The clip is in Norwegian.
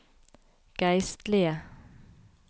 geistlige